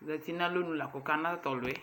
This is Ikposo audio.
Ozati nalɔnu la kɔkana tatɔluɛ